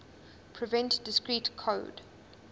prevent discrete code